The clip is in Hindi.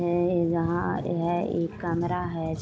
है यहा है एक कमरा है।